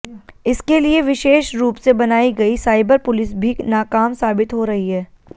इसके लिए विशेष रूप से बनाई गई साइबर पुलिस भी नाकाम साबित हो रही है